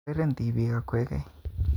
Oureren tibiik okwegen